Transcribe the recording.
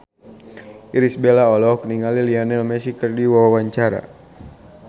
Irish Bella olohok ningali Lionel Messi keur diwawancara